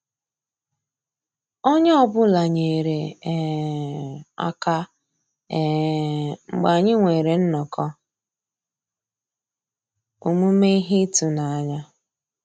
Ónyé ọ́ bụ́là nyéré um àká um mgbeé ànyị́ nwèrè nnọ́kọ́ òmùmé íhé ị́tụ́nányá.